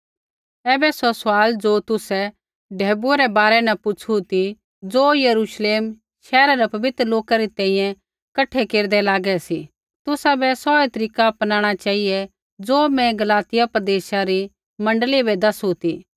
ऐबै सौ सवाल ज़ो तुसै ढैबुऐ रै बारै न पुछ़ू ती ज़ो यरूश्लेम शैहरा रै पवित्र लोका री तैंईंयैं कठा केरदै लागै सा तुसाबै सौऐ तरीका अपनाणा चेहिऐ ज़ो मैं गलातिया प्रदेशा रै मण्डली बै दसू ती